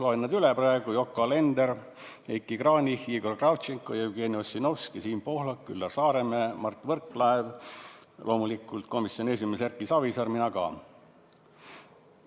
Loen nad üles: Yoko Alender, Heiki Kranich, Igor Kravtšenko, Jevgeni Ossinovski, Siim Pohlak, Üllar Saaremäe, Mart Võrklaev, loomulikult komisjoni esimees Erki Savisaar, mina ka.